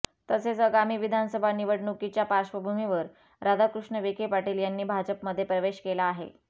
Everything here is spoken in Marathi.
तसेच आगामी विधानसभा निवडणुकीच्या पार्श्वभूमीवर राधाकृष्ण विखे पाटील यांनी भाजपमध्ये प्रवेश केला आहे